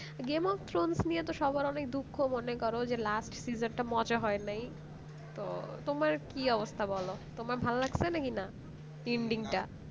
game of throne নিয়ে সবার এত দুঃখ মনে করো যে last seasons মজা হয় নাই তো তোমার কি অবস্থা বল তোমার ভালো লাগছে কি না ending টা